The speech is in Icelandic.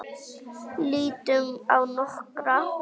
Lítum á nokkra.